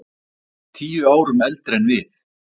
Tíu árum eldri en við.